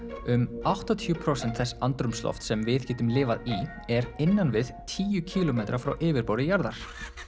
um áttatíu prósent þess andrúmslofts sem við getum lifað í er innan við tíu kílómetra frá yfirborði jarðar